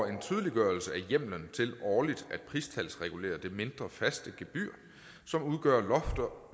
en tydeliggørelse af hjemlen til årligt at pristalsregulere det mindre faste gebyr som udgør